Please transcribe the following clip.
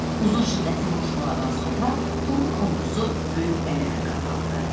Uzun şiddətli vuruşmalardan sonra Tomun ordusu böyük qələbə qazandı.